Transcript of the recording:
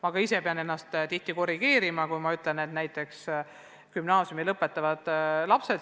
Ma pean ka ise ennast tihti korrigeerima, kui ma ütlen näiteks, et gümnaasiumi lõpetavad lapsed.